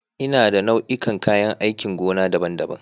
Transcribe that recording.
Ina da nau'ikan kayan aikin gona daban-daban.